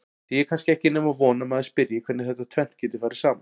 Því er kannski ekki nema von að maður spyrji hvernig þetta tvennt geti farið saman?